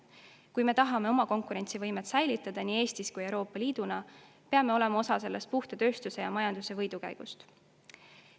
Kui nii Eesti kui ka Euroopa Liit tahavad oma konkurentsivõimet säilitada, peame olema osa sellest puhta tööstuse ja majanduse võidukäigust.